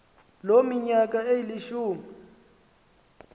loo minyaka ilishumi